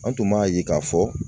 An tun b'a ye k'a fɔ